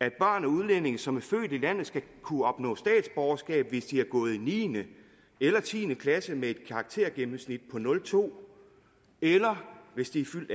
at børn af udlændinge som er født i landet skal kunne opnå statsborgerskab hvis de har gået i niende eller tiende klasse med et karaktergennemsnit på nul to eller hvis de er fyldt